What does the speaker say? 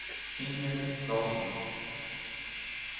Inger Klasson